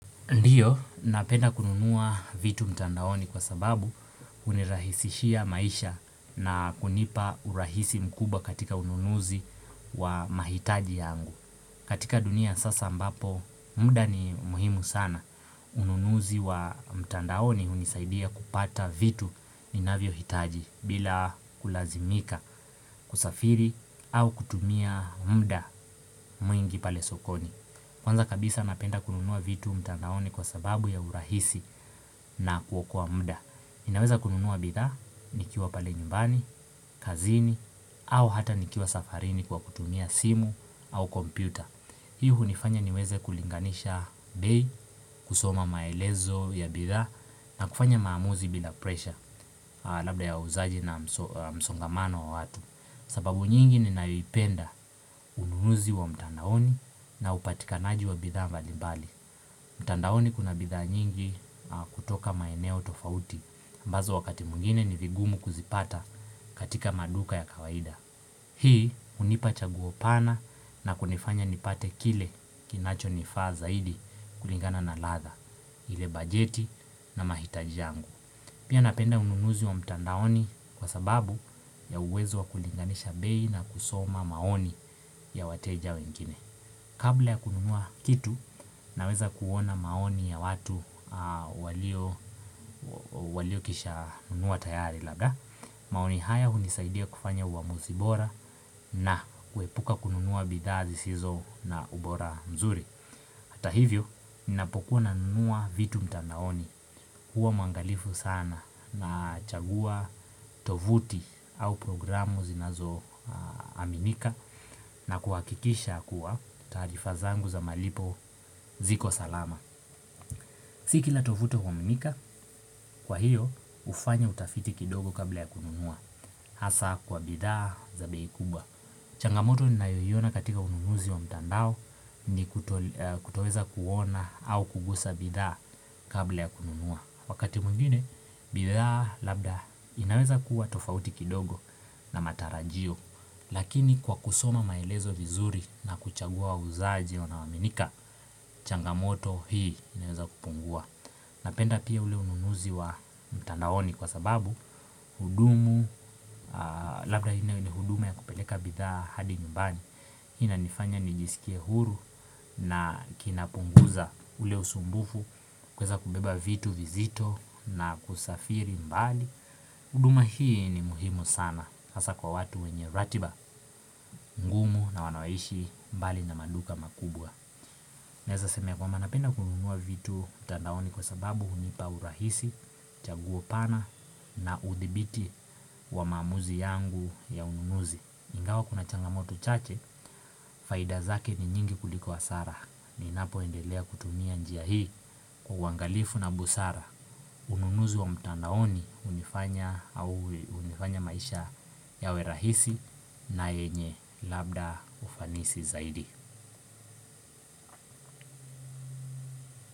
Ndiyo, napenda kununua vitu mtandaoni kwa sababu unirahisishia maisha na kunipa urahisi mkubwa katika ununuzi wa mahitaji yangu. Katika dunia ya sasa ambapo, muda ni muhimu sana. Ununuzi wa mtandaoni hunisaidia kupata vitu ninavyohitaji bila kulazimika kusafiri au kutumia mda mwingi pale sokoni. Kwanza kabisa napenda kununuwa vitu mtandaoni kwa sababu ya urahisi na kuokoa mda naweza kununuwa bidhaa nikiwa pale nyumbani, kazini, au hata nikiwa safarini kwa kutumia simu au kompyuta Hii hunifanya niweze kulinganisha bei, kusoma maelezo ya bidhaa na kufanya maamuzi bila presha Labda ya uuzaji na msongamano wa watu sababu nyingi ninayoipenda ununuzi wa mtandaoni na upatikanaji wa bidhaa mbalimbali mtandaoni kuna bidhaa nyingi kutoka maeneo tofauti ambazo wakati mwingine ni vigumu kuzipata katika maduka ya kawaida Hii hunipa chaguo pana na kunifanya nipate kile kinacho nifaa zaidi kulingana na ladha ile bajeti na mahitaji yangu Pia napenda ununuzi wa mtandaoni kwa sababu ya uwezo wa kulinganisha bei na kusoma maoni ya wateja wengine. Kabla ya kununua kitu naweza kuona maoni ya watu waliokisha nunua tayari labda, maoni haya hunisaidia kufanya uamuzi bora na kuepuka kununua bidhaa zisizo na ubora mzuri. Hata hivyo, ninapokuwa nanunua vitu mtandaoni. Huwa mwangalifu sana nachagua, tovuti au programu zinazoaminika na kuhakikisha kuwa taarifa zangu za malipo ziko salama. Si kila tovuti huaminika, kwa hiyo hufanya utafiti kidogo kabla ya kununua. Hasa kwa bidhaa za bei kubwa. Changamoto ninayoiona katika ununuzi wa mtandao ni kutoweza kuona au kugusa bidhaa kabla ya kununua. Wakati mwingine, bidhaa labda inaweza kuwa tofauti kidogo na matarajio. Lakini kwa kusoma maelezo vizuri na kuchagua wauzaji wanaoaminika, changamoto hii inaweza kupungua. Napenda pia ule ununuzi wa mtandaoni kwa sababu hudumu, labda haini huduma ya kupeleka bidhaa hadi nyumbani Hii inanifanya nijisikie huru na kinapunguza ule usumbufu kuweza kubeba vitu vizito na kusafiri mbali huduma hii ni muhimu sana hasa kwa watu wenye ratiba ngumu na wanaoishi mbali na maduka makubwa Naeza sema ya kwamba napenda kununua vitu mtandaoni kwa sababu hunipa urahisi, chaguo pana na udhibiti wa maamuzi yangu ya ununuzi Ingawa kuna changamoto chache, faida zake ni nyingi kuliko hasara Ninapoendelea kutumia njia hii kwa uangalifu na busara Ununuzi wa mtandaoni hunifanya maisha yawe rahisi na yenye labda ufanisi zaidi.